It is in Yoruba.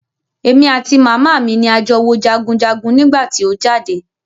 Èmi àti màmá mi ni a jọ wo jagunjagun nígbà tí o jáde.